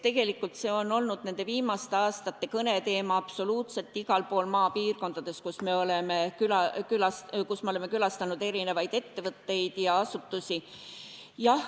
Tegelikult see on olnud viimaste aastate kõneteema absoluutselt igal pool maapiirkondades, kus me oleme külastanud ettevõtteid ja asutusi.